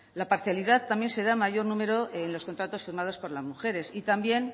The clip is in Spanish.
la parcialidad también se da en mayor número en los contratos firmados por las mujeres y también